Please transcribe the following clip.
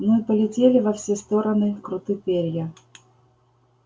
ну и полетели во все-то стороны круты перья